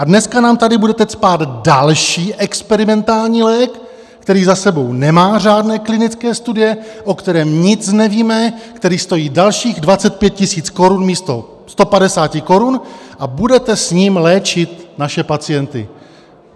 A dneska nám tady budete cpát další experimentální lék, který za sebou nemá řádné klinické studie, o kterém nic nevíme, který stojí dalších 25 000 korun místo 150 korun, a budete s ním léčit naše pacienty.